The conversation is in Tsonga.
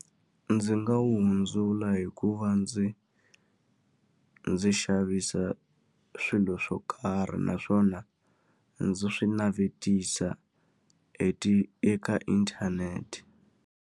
Ndzi nga wu hundzula hi ku va ndzi ndzi xavisa swilo swo karhi naswona, ndzi swi navetisa e ti eka inthanete.